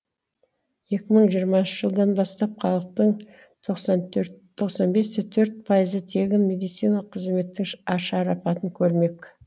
екі мың жиырмасыншы жылдан бастап халықтың тоқсан төрт тоқсан бес те төрт пайызы тегін медициналық қызметтің ашарапатын көрмек